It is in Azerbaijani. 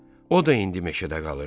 O da indi meşədə qalır.